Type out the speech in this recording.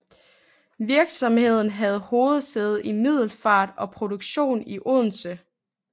Virksomheden havde hovedsæde i Middelfart og produktion i Odense